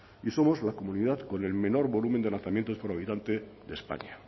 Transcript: y somos la comunidad con el menor volumen de lanzamientos por habitante de españa